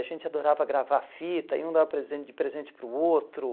A gente adorava gravar fita e um dava presente de presente para o outro.